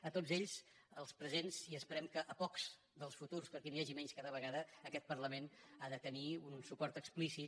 a tots ells els presents i esperem que pocs dels futurs perquè n’hi hagi menys cada vegada aquest parlament hi ha de tenir un suport explícit